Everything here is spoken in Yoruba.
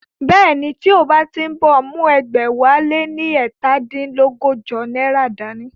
Bẹ́ẹ̀ni, tí o bá ń bọ̀, mú ẹgbẹ̀wáléní ẹ̀ta dín lọ́gọ́jọ náírà dá ní